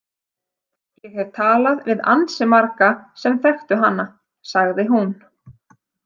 Ég hef talað við ansi marga sem þekktu hana, sagði hún.